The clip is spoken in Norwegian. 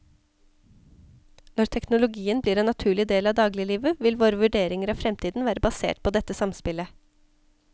Når teknologien blir en naturlig del av dagliglivet, vil våre vurderinger av fremtiden være basert på dette samspillet.